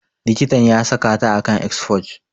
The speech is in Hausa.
Likitan ya saka ta a kan exforge.